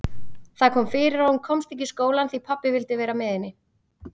Það kom fyrir að hún komst ekki í skólann því pabbi vildi vera með henni.